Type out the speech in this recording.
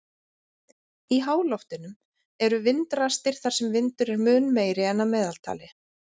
Í háloftunum eru vindrastir þar sem vindur er mun meiri en að meðaltali.